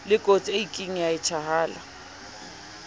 lekotsi e kieng ya etshahala